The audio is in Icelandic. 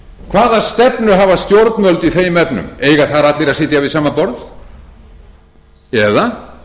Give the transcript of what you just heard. hvaða stefnu hafa stjórnvöld í þeim efnum eiga þar allir að sitja við sama borað eða